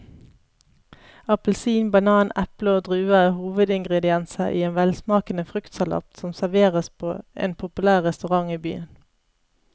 Appelsin, banan, eple og druer er hovedingredienser i en velsmakende fruktsalat som serveres på en populær restaurant i byen.